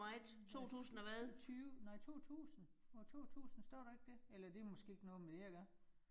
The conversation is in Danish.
Hm altså 20, nej 2000 år 2000 står der ikke det? Eller det måske ikke noget med det at gøre